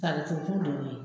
Tari ko ku de y'o ye